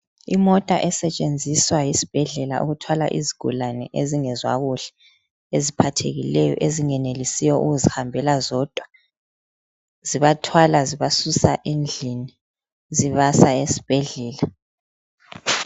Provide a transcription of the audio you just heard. Imota esetshenziswa yisibhedlela ukuthwala izigulane ezingezwa kuhle eziphathekileyo ezingenelisiyo ukuzihambela zodwa zibathwala zibazusa endlini zibasa esibhedlela.